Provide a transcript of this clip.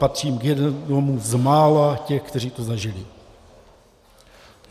Patřím k jednomu z mála těch, kteří to zažili.